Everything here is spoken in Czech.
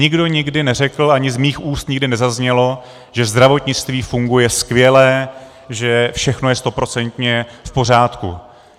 Nikdo nikdy neřekl, ani z mých úst nikdy nezaznělo, že zdravotnictví funguje skvěle, že všechno je stoprocentně v pořádku.